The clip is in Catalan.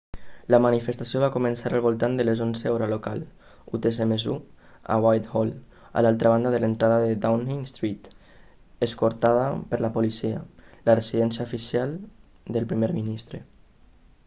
la manifestació va començar al voltant de les 11:00 hora local utc +1 a whitehall a l'altra banda de l'entrada a downing street escortada per la policia la residència oficial del primer ministre